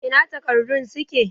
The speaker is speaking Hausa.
Ina takardun suke?